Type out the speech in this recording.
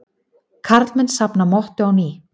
Karlmenn safna mottu á ný